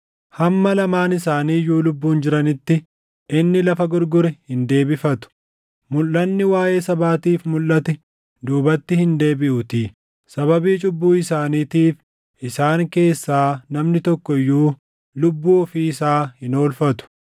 Hamma lamaan isaanii iyyuu lubbuun jiranitti inni lafa gurgure hin deebifatu; mulʼanni waaʼee sabaatiif mulʼate duubatti hin deebiʼuutii. Sababii cubbuu isaaniitiif isaan keessaa namni tokko iyyuu lubbuu ofii isaa hin oolfatu.